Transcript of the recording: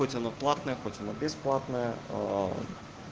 хоть она платная хоть бесплатная